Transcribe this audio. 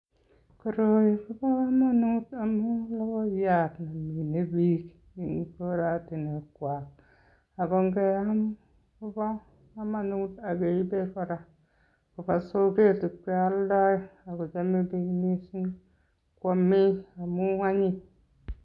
Koroi kobo komonut amun logoiyat ne mine biik en koratinwekwak ago ngeam kobo komonut ak keibe kora koba soget ibe alde ak kochame biik mising ko amee amun anyiny.